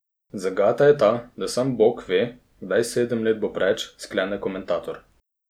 Zagata je ta, da sam Bog ve, kdaj sedem let bo preč, sklene komentator.